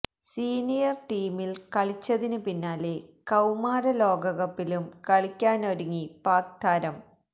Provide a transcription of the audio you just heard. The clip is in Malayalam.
സീനിയര് ടീമില് കളിച്ചതിന് പിന്നാലെ കൌമാര ലോകകപ്പിലും കളിക്കാനൊരുങ്ങി പാക് താരം